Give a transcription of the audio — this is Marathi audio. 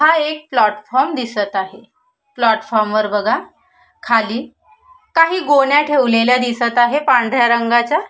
हा एक प्लॅटफॉर्म दिसत आहे प्लॅटफॉर्म वर बघा खाली काही गोण्या ठेवलेल्या दिसत आहेत पांढऱ्या रंगाच्या.